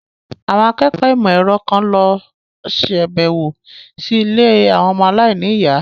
Àwọn akẹ́kọ̀ọ́ ìmọ̀ ẹ̀rọ kan lọ sàbẹ̀wò sí ilé àwọn ọmọ aláìníyàá.